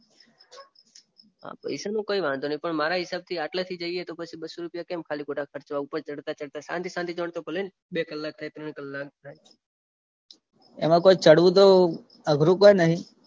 પૈસાનો કઈ વાંધો નઈ પણ મારા હિસાબથી આટલેથી જઈએ તો પછી બસ્સો રુપિયા કેમ ખાલી ખોટા ખર્ચવા ઉપર ચઢતા ચઢતા શાંતિ શાંતિથી ભલે ને બે કલાક થાય ત્રણ કલાક થાય. એમાં કોઈ ચઢવું તો અઘરું પણ નહિ.